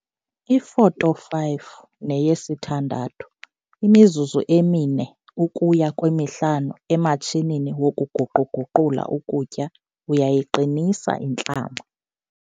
Ifoto 5 neyesi-6- imizuzu emi-4 ukuya kwemi-5 ematshinini wokuguqu-guqula ukutya uyayiqinisa intlama.